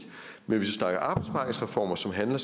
men hvis vi snakker arbejdsmarkedsreformer som handler